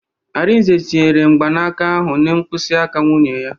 Arinze tinyere mgbanaka ahụ na mkpịsị aka nwunye ya